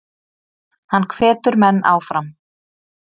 Hann hvetur menn áfram.